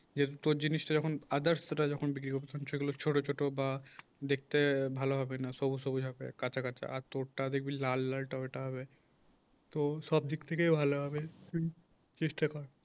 যেহেতু তোর জিনিসটা যখন others সেটা যখন বিক্রি করবি সেগুলো ছোট ছোট বা দেখতে ভালো হবে না সবুজ সবুজ হবে কাঁচা কাঁচা আর তোর টা দেখবি লাল লাল ওটা হবে তো সব দিক থেকে ভালো হবে হুম চেষ্টা কর